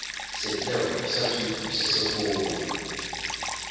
setheo sa thuto se segolo